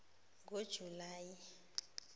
ngojulayi